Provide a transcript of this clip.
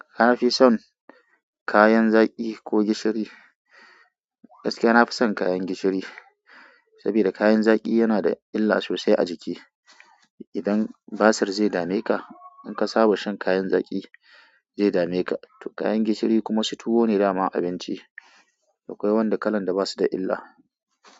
Ka fi son kayan zaƙi ko gishiri. Gaskiya na fi son kayan gishiri, sabida kayan zaƙi yana da illa sosai a jiki. Idan basir zai dame ka, in ka saba shan kayan zaƙi, zai dame ka, to kayan gishiri kuma su tuwo ne dama a abinci. Akwai wanda kalan da basu da illa.